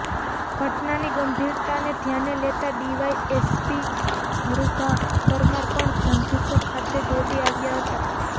ઘટનાની ગંભીરતાને ધ્યાને લેતા ડીવાય એસપી હરૃભા પરમાર પણ ધંધુકા ખાતે દોડી આવ્યા હતા